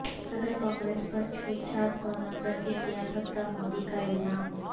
صدر کانگریس پر چھوت چھات اور نفرت کی سیاست کا مودی کا الزام